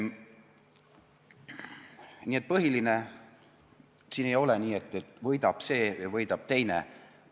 Nii et põhiline: siin ei ole nii, et võidab see ja võidab teine.